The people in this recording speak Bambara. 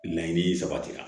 Laɲini sabatira